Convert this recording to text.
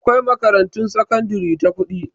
Akwai makarantun sakandare ta kuɗi